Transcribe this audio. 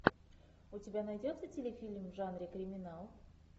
у тебя найдется телефильм в жанре криминал